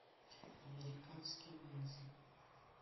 американский ниндзя